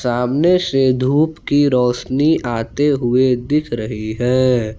सामने से धूप की रोशनी आते हुए दिख रही है।